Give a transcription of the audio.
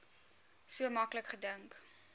so maklik gedink